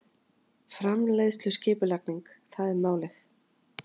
Framleiðsluskipulagning- það er málið!